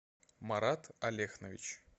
марат алехнович